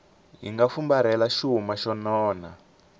nga fumbarhela xuma xo nona